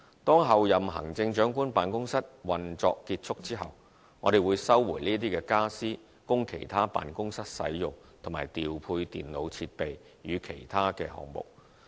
當候任行政長官辦公室運作結束後，我們會收回傢俬供其他辦公室使用，以及調配電腦設備予其他項目。